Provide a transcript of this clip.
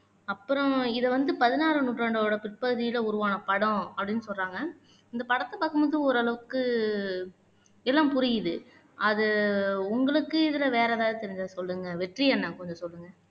அப்பறம் இதை வந்து பதினாராம் நூற்றாண்டோட பிற்பகுதியில உருவான படம் அப்படின்னு சொல்றாங்க இந்த படத்தை பார்க்கும்போது ஒரு அளவுக்கு எல்லாம் புரியுது அது உங்களுக்கு இதுல வேற எதாவது தெரிஞ்சா சொல்லுங்க வெற்றி அண்ணா கொஞ்சம் சொல்லுங்க